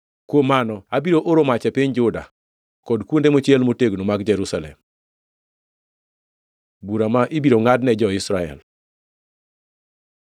kuom mano abiro oro mach e piny Juda, kod kuonde mochiel motegno mag Jerusalem.” Bura ma ibiro ngʼadne jo-Israel